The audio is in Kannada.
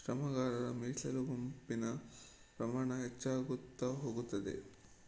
ಶ್ರಮಗಾರರ ಮೀಸಲುಗುಂಪಿನ ಪ್ರಮಾಣ ಹೆಚ್ಚಾಗುತ್ತಾ ಹೋಗುತ್ತದೆ